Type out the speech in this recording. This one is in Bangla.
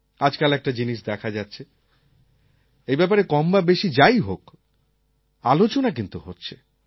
আজকাল একটা জিনিস দেখা যাচ্ছে এই ব্যাপারে কম বা বেশি যাই হোক আলোচনা কিন্তু হচ্ছে